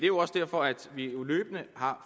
jo også derfor at vi løbende har